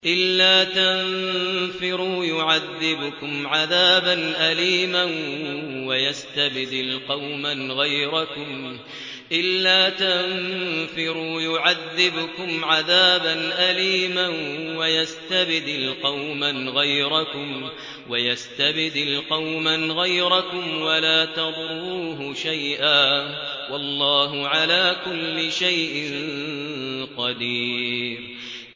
إِلَّا تَنفِرُوا يُعَذِّبْكُمْ عَذَابًا أَلِيمًا وَيَسْتَبْدِلْ قَوْمًا غَيْرَكُمْ وَلَا تَضُرُّوهُ شَيْئًا ۗ وَاللَّهُ عَلَىٰ كُلِّ شَيْءٍ قَدِيرٌ